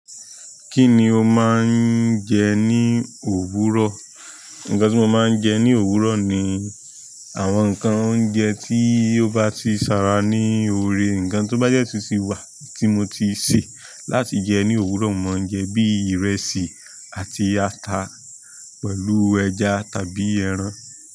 Kí ni o máa ń jẹ ní òwúrọ̀? Nǹkan tí mo máa ń jẹ ní òwúrọ̀ ni àwọn nǹkan oúnjẹ tí ó bá ti ṣàrà ní oore, nǹkan tó bá jẹ́ títí wà tí mo ti sè láti jẹ ní òwúrọ̀, mo máa jẹ bí ìrẹsì àti ata pẹ̀lú ẹja tàbí ẹran.